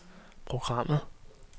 programmet